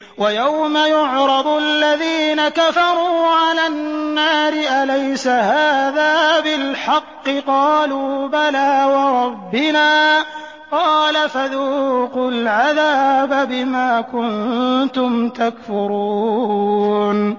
وَيَوْمَ يُعْرَضُ الَّذِينَ كَفَرُوا عَلَى النَّارِ أَلَيْسَ هَٰذَا بِالْحَقِّ ۖ قَالُوا بَلَىٰ وَرَبِّنَا ۚ قَالَ فَذُوقُوا الْعَذَابَ بِمَا كُنتُمْ تَكْفُرُونَ